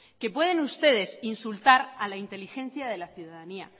que pueden ustedes insultar a la inteligencia de la ciudadanía